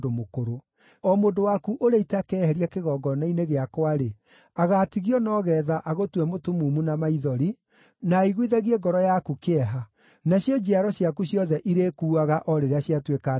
O mũndũ waku ũrĩa itakeheria kĩgongona-inĩ gĩakwa-rĩ, agaatigio no geetha agũtue mũtumumu na maithori, na aiguithagie ngoro yaku kĩeha, nacio njiaro ciaku ciothe irĩkuuaga o rĩrĩa ciatuĩka andũ agima.